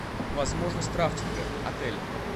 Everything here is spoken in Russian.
возможность рафтинга отель